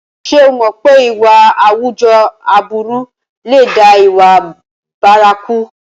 Ṣé o mọ̀ pé ìwà àwùjọ aburú lè dá ìwà bárakú?